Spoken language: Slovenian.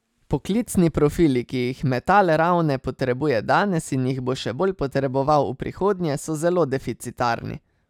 Poklicni profili, ki jih Metal Ravne potrebuje danes in jih bo še bolj potreboval v prihodnje, so zelo deficitarni.